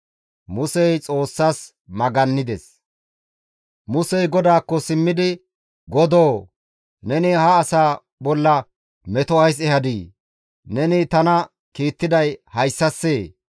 Musey GODAAKKO simmidi, «Godoo, neni ha asaa bolla meto ays ehadii? Neni tana kiittiday hayssassee?